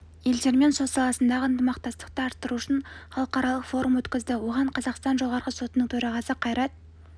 елдермен сот саласындағы ынтымақтастықты арттыру үшін іалықаралық форум өткізді оған қазақстан жоғарғы сотының төрағасы қайрат